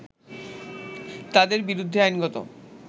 তাদের বিরুদ্ধে আইনগত